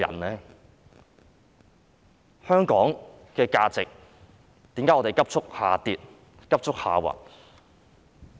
為何香港價值急速下跌、下滑？